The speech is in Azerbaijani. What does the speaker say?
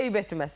Eyib etməz.